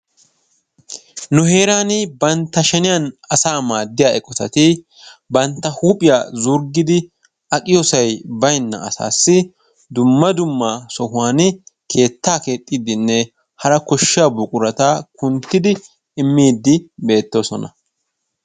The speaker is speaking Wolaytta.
Nu heerani bantta sheniyan asa maadiyaa eqqotati bantta huuphiya zurggidi aqqiyosay baynna asasi dumma dumma sohuwani keettaa keexidine hara koshshiyaa buqurata kunttidi immidi beetosona.